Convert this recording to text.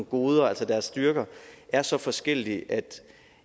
goder altså deres styrker er så forskellige at